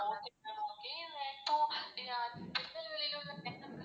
Okay ma'am okay இப்போ திருநெல்வேலில உள்ள center